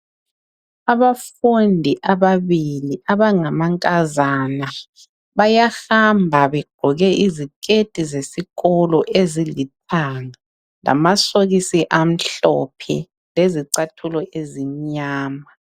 Abafundi ababili abangamankazana bayahamba begqoke izikhethi zesikolo ezilithanga lamasokisi amhlophe lezicathulo ezimnyama.